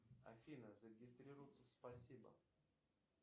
афина зарегистрироваться в спасибо